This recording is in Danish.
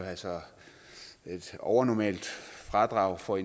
altså et overnormalt fradrag for